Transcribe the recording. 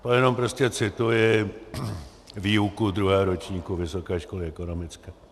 To jenom prostě cituji výuku druhého ročníku Vysoké školy ekonomické.